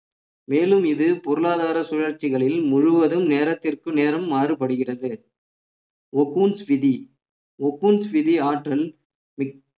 மேலும் இது பொருளாதார சுழற்சிகளில் முழுவதும் நேரத்திற்கு நேரம் மாறுபடுகிறது ஒகூன்ஸ் விதி ஒகூன்ஸ் விதி ஆற்றல்